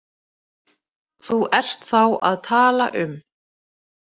Þú ert þá að tala um.